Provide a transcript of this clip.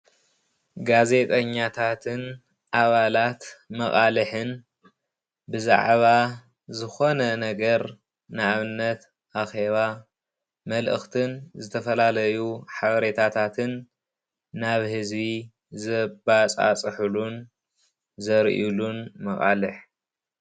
ጋዜጠኛታትን ኣባላት መቃልሕን ብዛዕባ ዝኾነ ነገር ንኣብነት ኣኼባ መልእክትን ዝተፈላለዩ ሓቤረታትን ናብ ሕዝቢ ዘባፃፅሕሉን ዘርእሉን መቃልሕ።